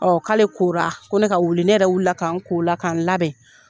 Ɔn k'ale kora, ko ne ka wuli . Ne yɛrɛ wili la ka n ko o la ka n labɛn.